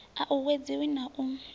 a u uwedziwe na u